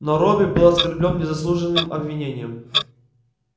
но робби был оскорблён незаслуженным обвинением